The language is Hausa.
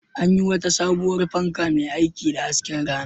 An yi wata sabuwar fanka mai aiki da hasken rana.